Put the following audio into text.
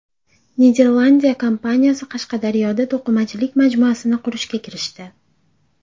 Niderlandiya kompaniyasi Qashqadaryoda to‘qimachilik majmuasini qurishga kirishdi.